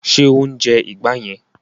Ṣé o ń jẹ ìgbá yẹn?